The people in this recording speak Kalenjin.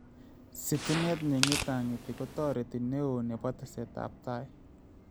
Sitimet neng�etang�eti koteret newo nebo tesetaab tai